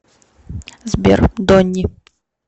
сбер донни